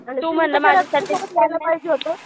पाहिजे होतं